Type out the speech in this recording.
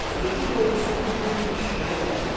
Sözün doğrusu bu gün iş belə gətirdi.